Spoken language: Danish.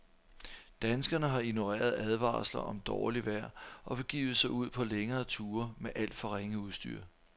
Danskerne har ignoreret advarsler om dårligt vejr og begivet sig ud på længere ture med alt for ringe udstyr.